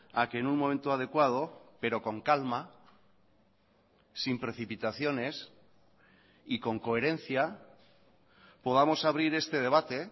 a que en un momento adecuado pero con calma sin precipitaciones y con coherencia podamos abrir este debate